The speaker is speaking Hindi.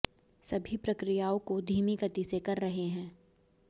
सभी प्रक्रियाओं को धीमी गति से कर रहे हैं